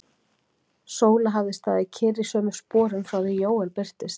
Sóla hafði staðið kyrr í sömu sporum frá því Jóel birtist.